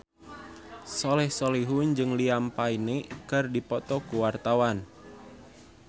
Soleh Solihun jeung Liam Payne keur dipoto ku wartawan